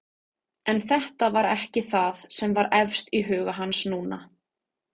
En þetta var ekki það sem var efst í huga hans núna.